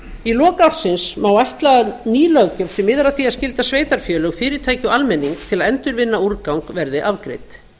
í lok ársins má ætla að ný löggjöf sem miðar að því að skylda sveitarfélög fyrirtæki og almenning til að endurvinna úrgang verði afgreidd